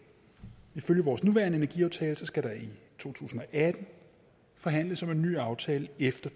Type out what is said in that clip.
ifølge vores nuværende energiaftale skal der i to tusind og atten forhandles om en ny aftale efter